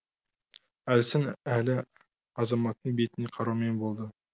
әлсін әлі азаматтың бетіне қараумен болды